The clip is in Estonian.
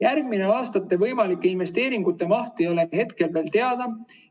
" Järgmiste aastate võimalike investeeringute maht ei ole hetkel veel teada.